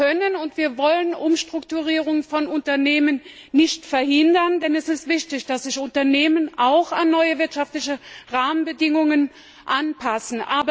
Wir können und wir wollen Umstrukturierungen von Unternehmen nicht verhindern, denn es ist wichtig, dass sich Unternehmen auch an neue wirtschaftliche Rahmenbedingungen anpassen.